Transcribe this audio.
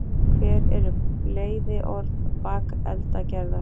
hver eru bleyðiorð bakeldagerðar